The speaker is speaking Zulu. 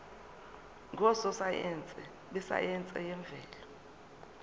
ngososayense besayense yemvelo